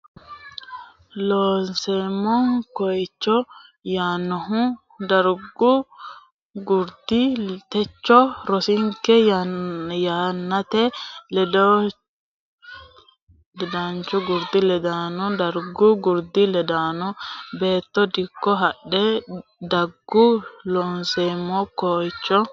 Looseemmo Ko iicho yaannohu dargu gurdi techo rosinke yannate ledaanchooti gurdi ledaano dargu gurdi ledaanonna Beetto dikko hadhe daggu Looseemmo Ko iicho.